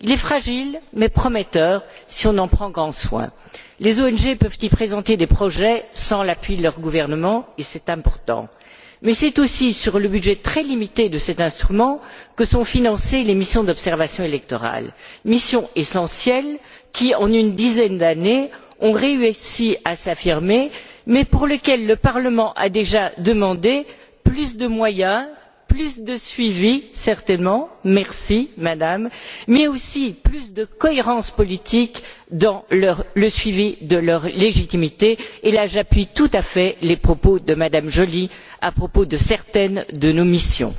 né. Il est fragile mais prometteur si on en prend grand soin. Les ONG peuvent y présenter des projets sans l'appui de leur gouvernement, et c'est important. Mais c'est aussi sur le budget très limité de cet instrument que sont financées les missions d'observation électorale, missions essentielles qui, en une dizaine d'années, ont réussi à s'affirmer, mais pour lesquelles le Parlement a déjà demandé plus de moyens, plus de suivi, certainement merci Madame mais aussi plus de cohérence politique dans le suivi de leur légitimité et là, j'appuie tout à fait les propos de M me Joly à propos de certaines de nos missions.